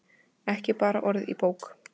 Ekki bara orð í bók.